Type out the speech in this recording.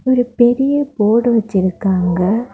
இங்க பெரிய போர்டு வச்சிருக்காங்க.